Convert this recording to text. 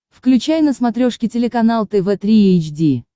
включай на смотрешке телеканал тв три эйч ди